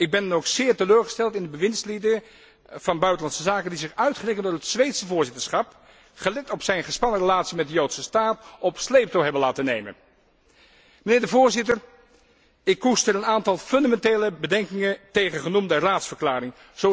Ik ben dan ook zeer teleurgesteld in de bewindslieden van Buitenlandse Zaken die zich uitgerekend door het Zweedse voorzitterschap, gelet op zijn gespannen relatie met de Joodse staat, op sleeptouw hebben laten nemen. Mijnheer de Voorzitter, ik koester een aantal fundamentele bedenkingen tegen genoemde Raadsverklaring.